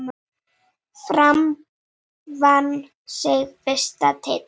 Fram vann sinn fyrsta titil.